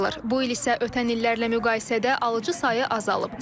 Bu il isə ötən illərlə müqayisədə alıcı sayı azalıb.